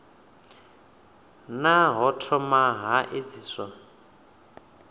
naa ho thoma ha edziswa